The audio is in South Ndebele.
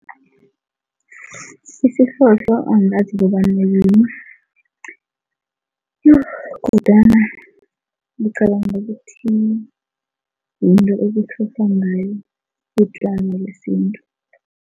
Isihlohlo angazi kobana yini yo kodwana ngicabanga ukuthi yinto ngayo utjwala besintu.